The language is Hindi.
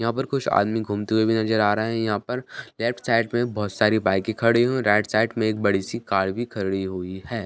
यहाँ पर कुछ आदमी घूमते हुए भी नज़र आ रहे हैं यहाँ पर लेफ्ट साइड में बोहोत सारी बाइकें खड़ी हुई राइट साइड में एक बड़ी-सी कार भी खड़ी हुई है।